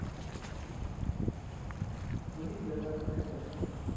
moenie dinge vergeet